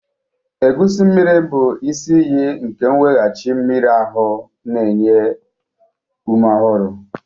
Egusi mmiri bụ isi iyi nke nweghachi mmiri ahu na nri na-enye ume ọhụrụ.